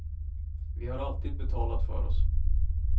Vi har alltid betalat för oss.